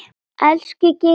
Elsku Geiri brói.